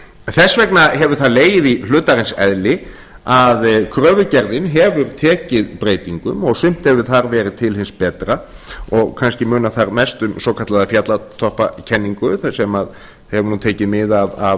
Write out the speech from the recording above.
þess vegna hefur það legið í hlutarins eðli að kröfugerðin hefur tekið breytingum og sumt hefur þar verið til hins betra og kannski munar þar mest um svokallaða fjallatoppakenningu sem hefur nú tekið mið af